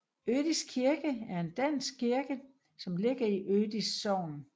Ødis kirke er en dansk kirke som ligger i Ødis Sogn